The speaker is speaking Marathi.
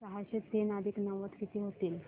सहाशे तीन अधिक नव्वद किती होतील